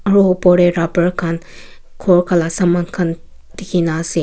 Ro upor tey rubber khan kor khan laka saman khan dekhena ase.